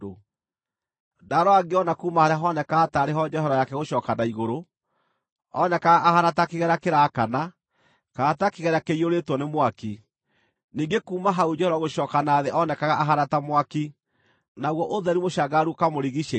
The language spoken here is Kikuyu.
Ndaarora ngĩona kuuma harĩa honekaga taarĩ ho njohero yake gũcooka na igũrũ, oonekaga ahaana ta kĩgera kĩraakana, kana ta kĩgera kĩiyũrĩtwo nĩ mwaki, ningĩ kuuma hau njohero gũcooka na thĩ oonekaga ahaana ta mwaki; naguo ũtheri mũcangararu ũkamũrigiicĩria.